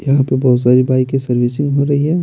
यहाँ पे बहोत सारी बाइके सर्विसिंग हो रही है।